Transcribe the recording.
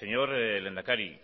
señor lehendakari